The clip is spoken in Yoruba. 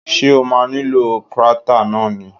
Ṣé o ma nílò krátà náà ni?